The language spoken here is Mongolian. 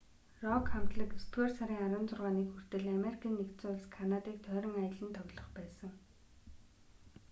рок хамтлаг есдүгээр сарын 16-ныг хүртэл америкийн нэгдсэн улс канадыг тойрон аялан тоглох байсан